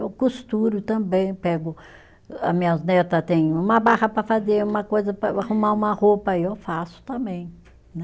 Eu costuro também, pego, a minhas neta têm uma barra para fazer, uma coisa para arrumar uma roupa, aí eu faço também, né?